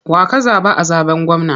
Wa ka zaɓa a zaɓen gwamna?